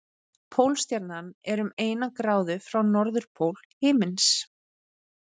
Pólstjarnan er um eina gráðu frá norðurpól himins.